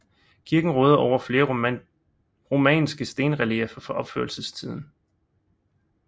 Kirken råder over flere romanske stenrelieffer fra opførelsestiden